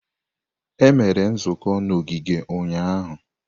Emere nzukọ n'ogige ụnyahụ.